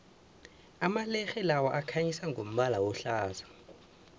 amalerhe lawa akhanyisa ngombala ohlaza